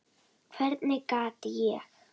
Hvernig gat ég.